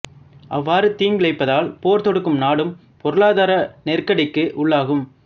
அவ்வாறு தீங்கிழைப்பதால் போர் தொடுக்கும் நாடும் பொருளாதார நெருக்கடிக்கு உள்ளாகும்